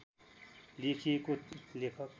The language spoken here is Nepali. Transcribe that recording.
लेखिएको लेख